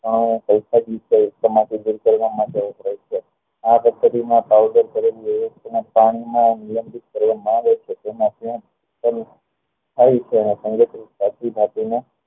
આ પદ્ધતિ માં કરેલી પ્રાણી માં ઉલ્ગ્ન્ન કરવા માં આવે છે તેમાં તે થાય છે ને